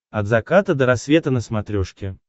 от заката до рассвета на смотрешке